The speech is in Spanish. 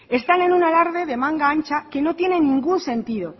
están en un alarde de manga ancha que no tiene ningún sentido